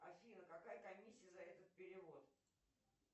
афина какая комиссия за этот перевод